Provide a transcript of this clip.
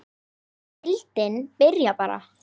Má deildin byrja bara?